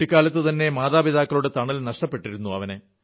കുട്ടിക്കാലത്തുതന്നെ മാതാപിതാക്കളുടെ തണൽ നഷ്ടപ്പെട്ടിരുന്നു